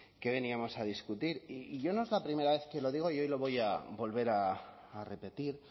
que veníamos a discutir y yo no es la primera vez que lo digo y hoy lo voy a volver a repetir